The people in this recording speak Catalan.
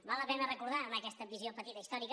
val la pena recordar en aquesta visió petita històrica